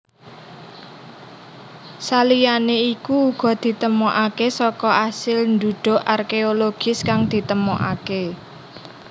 Saliyane iku uga ditemokake saka asil ndhudhuk arkeologis kang ditemokake